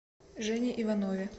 жене иванове